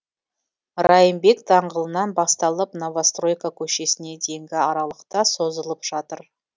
райымбек даңғылынан басталып новостройка көшесіне дейінгі аралықта созылып жатыр